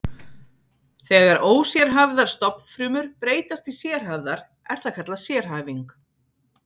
Þegar ósérhæfðar stofnfrumur breytast í sérhæfðar er það kallað sérhæfing.